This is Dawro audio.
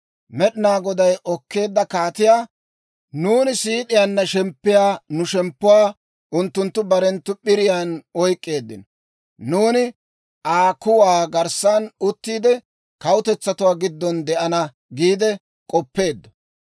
Med'inaa Goday okkeedda kaatiyaa, nuuni siid'iyaanna shemppiyaa nu shemppuwaa, unttunttu barenttu p'iriyaan oyk'k'eeddino. Nuuni Aa kuwaa garssan uttiide, kawutetsatuwaa giddon de'ana giide k'oppeeddo.